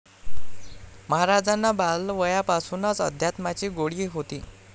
महाराजांना बालवयापासूनच अध्यात्माची गोडी होती.